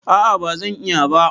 A'a ba zan iya ba.